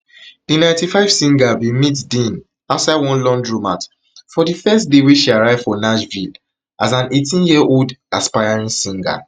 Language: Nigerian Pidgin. di ninety-five singer singer bin meet dean outside one laundromat for di first day she arrive for nashville as an eighteenyearold aspiring singer